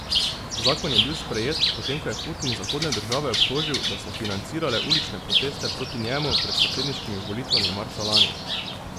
Zakon je bil sprejet, potem ko je Putin zahodne države obtožil, da so financirale ulične proteste proti njemu pred predsedniškimi volitvami marca lani.